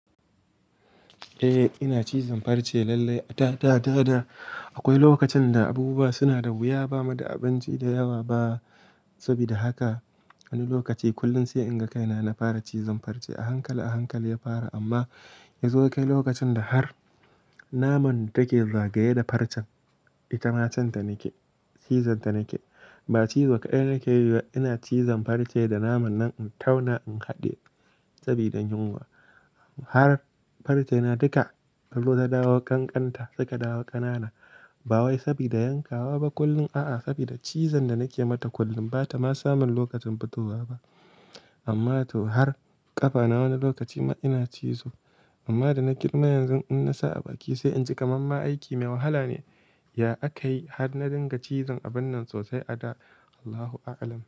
Eh ina cizon farce lallai. Da, da, da akwai lokacin da abubuwa suna da wuya ba mu da abinci da yawa ba. Saboda haka wani lokaci kullum sai in ga kaina na fara cizon farce a hankali a hankali ya fara amma yazo kai lokacin da har naman da take zagaye da farcen ita cinta nake, cizon ta nake. Ba cizo kaɗai nake yi ba ina cizon farce da naman nan in tauna in haɗiye saboda yinwa Har farce na duka, ya dawo ƙanƙanta suka dawo ƙanana. Ba wai saboda yankawa ba kullum a'a saboda cizon da nake mata kullum bata ma samun lokacin fitowa ba. Amma to har ƙafa na wani lokaci ma ina cizo amma da na girma yanzu in na sa a baki sai in ci kamar ma aiki mai wahala ne. Ya akayi har na dinga cizon a wannan sosai a da? Allahu A'alam.